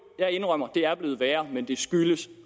jeg indrømmer det er blevet værre men det skyldes